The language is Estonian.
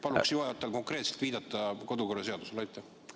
Palun juhatajal viidata konkreetselt kodu- ja töökorra seaduse.